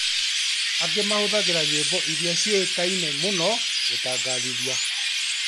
Angĩ mahũthagĩra nyĩmbo iria ciũĩkaine mũno gũtangathithia